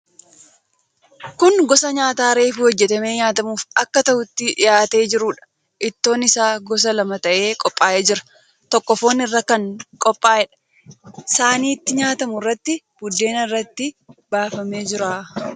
Kun gosa nyaataa reefuu hojjetamee nyaatamuuf akka ta'utti dhihaatee jiruudha. Ittoon isaa gosa lama ta'ee qophaa'ee jira. Tokko foon irraa kan qophaa'eedha. Saanii itti nyaatamu irratti buddeen irratti baafamee jira.